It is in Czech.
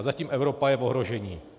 A zatím Evropa je v ohrožení!